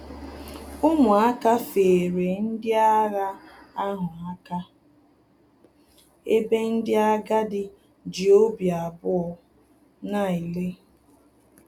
Umuaka feere ndị agha ahụ aka, ebe ndị agadi ji obi abụọ na-ele